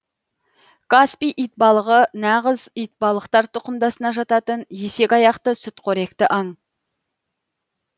каспий итбалығы нағыз итбалықтар тұқымдасына жататын есекаяқты сүтқоректі аң